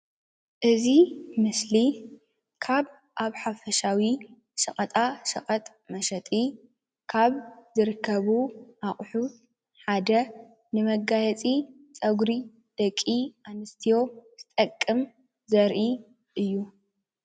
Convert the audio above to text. እዚ ምስሊ ሸቀጣሸቀጥ ኮይኑ ደቂ ኣንስትዮ ንምምልኻዕ ዝጥቀማሉ እዩ።